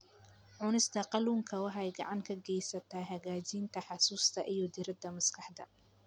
Cunista kalluunka waxay gacan ka geysataa hagaajinta xusuusta iyo diiradda maskaxda.